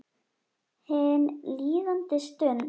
Hin líðandi stund.